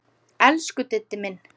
Elsku Diddi minn.